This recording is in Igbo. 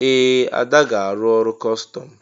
Ee! Ada ga-arụ ọrụ kọstọm.